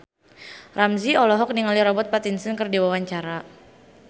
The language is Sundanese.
Ramzy olohok ningali Robert Pattinson keur diwawancara